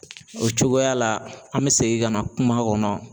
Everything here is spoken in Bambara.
O cogoya la an me segin ka na kuma kɔnɔ